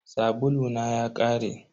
Sabulu na ya ƙare.